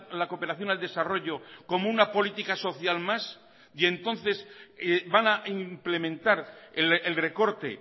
la cooperación al desarrollo como una política social más y entonces van a implementar el recorte